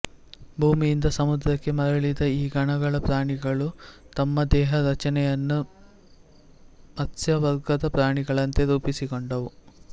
ಭೂಮಿಯಿಂದ ಸಮುದ್ರಕ್ಕೆ ಮರಳಿದ ಈ ಗಣಗಳ ಪ್ರಾಣಿಗಳು ತಮ್ಮ ದೇಹರಚನೆಯನ್ನು ಮತ್ಸ್ಯವರ್ಗದ ಪ್ರಾಣಿಗಳಂತೆ ರೂಪಿಸಿಕೊಂಡುವು